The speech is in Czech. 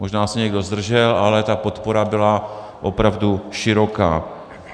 Možná se někdo zdržel, ale ta podpora byla opravdu široká.